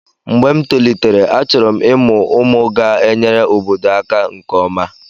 mgbe m tolitere, achọrọ m ịmụ ụmụ ga-enyere obodo aka nke ọma